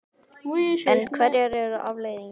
En hverjar eru afleiðingarnar?